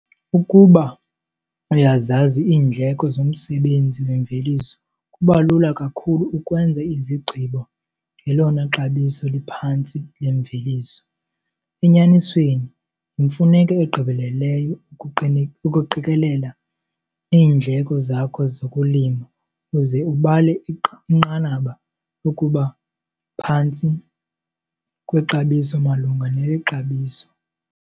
Ukuba uyazazi iindleko zomsebenzi wemveliso kuba lula kakhulu ukwenza izigqibo ngelona xabiso liphantsi lemveliso. Enyanisweni, yimfuneko egqibeleleyo ukuqikelela iindleko zakho zokulima uze ubale inqanaba lokuba phantsi kwexabiso malunga neli xabiso.